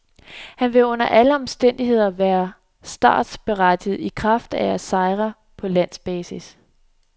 Han ville under alle omstændigheder være startberettiget i kraft af sejre på landsbasis.